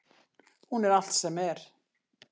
Hún er allt sem er.